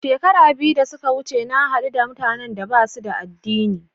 Shekara biyu da suka wuce na haɗu da mutanan da ba su da addini.